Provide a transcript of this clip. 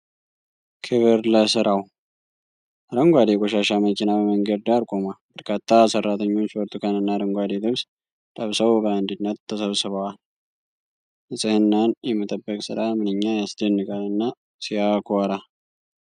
"ክብር ለስራው !" አረንጓዴ የቆሻሻ መኪና በመንገድ ዳር ቆሟል ። በርካታ ሰራተኞች በብርቱካንና አረንጓዴ ልብስ ለብሰው "በአንድነት" ተሰብስበዋል ። ንፅህናን የመጠበቅ ስራ "ምንኛ ያስደንቃል!" እና "ሲያኮራ!"